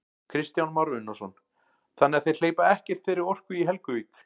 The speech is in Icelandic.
Kristján Már Unnarsson: Þannig að þeir hleypa ekkert þeirri orku í Helguvík?